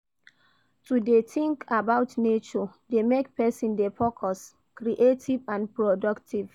To de think about nature de make persin de focus, creative and productive